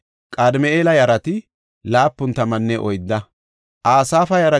Raya yarata, Raxina yarata, Naqooda yarata,